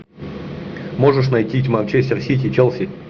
можешь найти манчестер сити челси